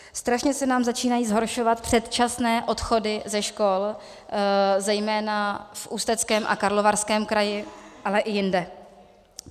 Strašně se nám začínají zhoršovat předčasné odchody ze škol, zejména v Ústeckém a Karlovarském kraji, ale i jinde.